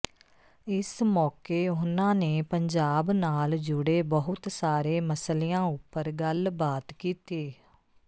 ਇਸ ਮੌਕੇ ਉਨ੍ਹਾਂ ਨੇ ਪੰਜਾਬ ਨਾਲ ਜੁੜੇ ਬਹੁਤ ਸਾਰੇ ਮਸਲਿਆਂ ਉਪਰ ਗੱਲਬਾਤ ਕੀਤੀ